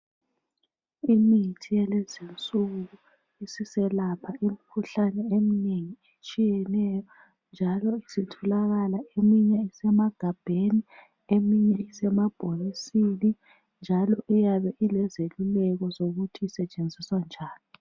Imithi yalezinsuku siselapha imikhuhlane eminengi etshiyeneyo, njalo isitholakala eminye isemagabheni eminye isemabhokisini, njalo iyabe ilezeluleko zokuthi isetshenziswa njani.